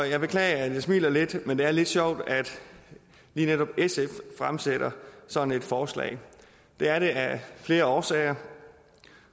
jeg beklager at jeg smiler lidt men det er lidt sjovt at lige netop sf fremsætter sådan et forslag det er det af flere årsager